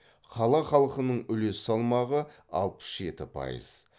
қала халқының үлес салмағы алпыс жеті пайыз